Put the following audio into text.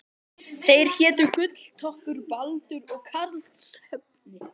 Þeir hétu Gulltoppur, Baldur og Karlsefni.